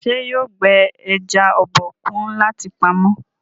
ṣe yóò gbé eja Obokun láti pàmò.?